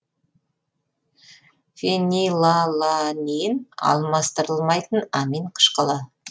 фенилаланин алмастырылмайтын амин қышқылы